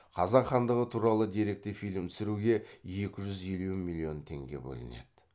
қазақ хандығы туралы деректі фильм түсіруге екі жүз елу миллион теңге бөлінеді